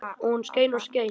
Og hún skein og skein.